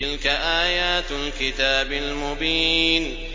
تِلْكَ آيَاتُ الْكِتَابِ الْمُبِينِ